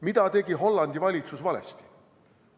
Mida tegi Hollandi valitsus valesti?